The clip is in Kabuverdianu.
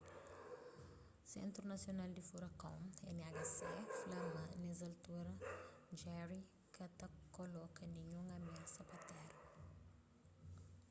sentru nasional di furakon nhc fla ma nes altura jerry ka ta koloka ninhun amiasa pa téra